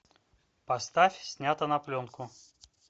поставь снято на пленку